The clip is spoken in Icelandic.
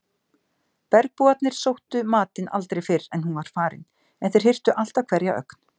Bergbúarnir sóttu matinn aldrei fyrr en hún var farin en þeir hirtu alltaf hverja ögn.